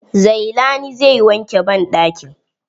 Zailani zai wanke banɗakin.